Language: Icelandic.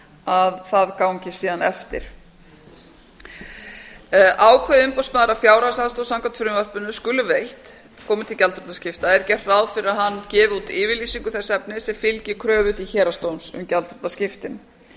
að það gangi síðan eftir ákveði umboðsmaður að fjárhagsaðstoð samkvæmt frumvarpinu skuli veitt komi til gjaldþrotaskipta er gert ráð fyrir að hann gefi út yfirlýsingu þess efnis sem fylgi kröfu til héraðsdóms um gjaldþrotaskiptin